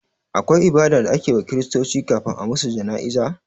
Akwai ibada da ake wa kiristoci kafin a musu jana'iza?